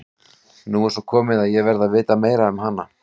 Nú er svo komið að ég verð að vita meira um hana.